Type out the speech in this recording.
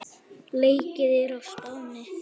Leikið er á Spáni.